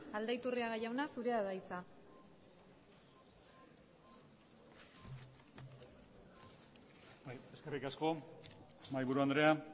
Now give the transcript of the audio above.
aldaiturriaga jauna zurea da hitza eskerrik asko mahaiburu andrea